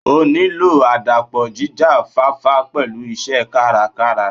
O nílò àdàpọ̀ jíjá fáfá pẹ̀lú iṣẹ́ kárakára.